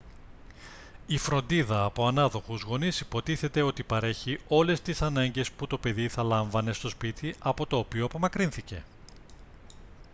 η φροντίδα από ανάδοχους γονείς υποτίθεται ότι παρέχει όλες τις ανάγκες που το παιδί δεν λάμβανε στο σπίτι από το οποίο απομακρύνθηκε